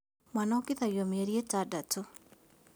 Mwana ongithagio mĩerĩ ĩtandatũ